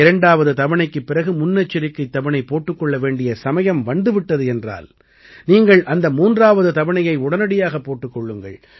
இரண்டாவது தவணைக்குப் பிறகு முன்னெச்சரிக்கைத் தவணை போட்டுக் கொள்ள வேண்டிய சமயம் வந்து விட்டது என்றால் நீங்கள் அந்த 3ஆவது தவணையை உடனடியாகப் போட்டுக் கொள்ளுங்கள்